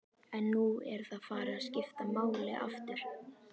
En nú er það farið að skipta máli aftur?